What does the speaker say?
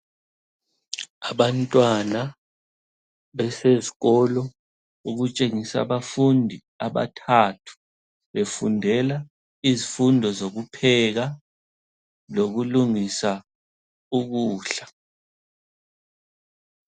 Abantwana besezikolo. Okutshengisa abafundi abathathu befundela izifundo zokupheka lokulungisa ukudla.